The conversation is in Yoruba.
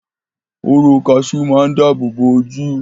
Hóró kaṣú máa dábòbò ojú.